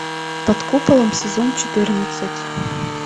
под куполом сезон четырнадцать